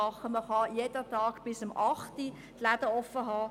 Man kann jeden Tag bis um acht die Läden geöffnet haben.